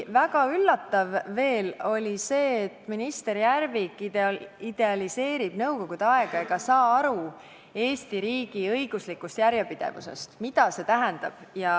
Väga üllatav oli veel see, et minister Järvik idealiseerib nõukogude aega ega saa aru Eesti riigi õiguslikust järjepidevusest, ta ei saa aru, mida see tähendab.